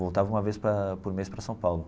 Voltava uma vez para por mês para São Paulo.